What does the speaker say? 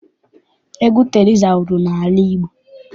Egwu Teriza wuru n'ala Igbo.